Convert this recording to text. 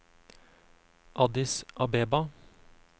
Addis Abeba